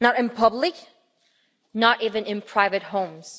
not in public, not even in private homes.